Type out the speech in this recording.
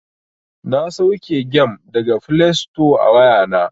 Na sauke gem daga flesto a wayana.